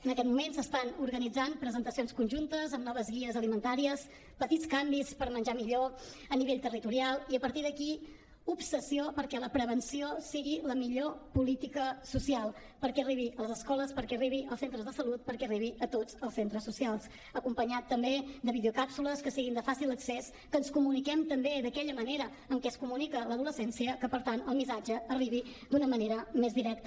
en aquest moment s’estan organitzant presentacions conjuntes amb noves guies alimentàries petits canvis per menjar millor a nivell territorial i a partir d’aquí obsessió perquè la prevenció sigui la millor política social perquè arribi a les escoles perquè arribi als centres de salut perquè arribi a tots els centres socials acompanyat també de videocàpsules que siguin de fàcil accés que ens comuniquem també d’aquella manera en què es comunica l’adolescència que per tant el missatge arribi d’una manera més directa